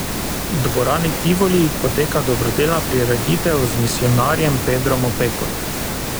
V dvorani Tivoli poteka dobrodelna prireditev z misijonarjem Pedrom Opeko.